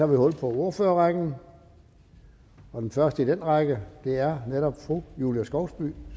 hul på ordførerrækken og den første i den række er netop fru julie skovsby